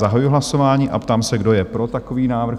Zahajuji hlasování a ptám se, kdo je pro takový návrh?